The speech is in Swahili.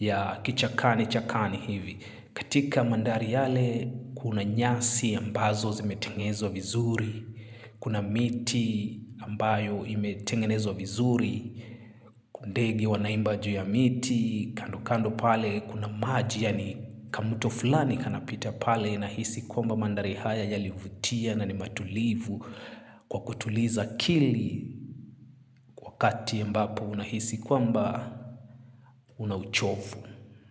ya kichakani chakani hivi. Katika mandari yale kuna nyasi ambazo zimetengezwa vizuri, kuna miti ambayo imetengenezwa vizuri, kuna ndege wanaimba juu ya miti, kando kando pale kuna maji yani kamuto fulani kanapita pale na hisi kwamba mandari haya yalivutia na ni matulivu. Kwa kutuliza akili wakati ambapo unahisi kwamba unachovu.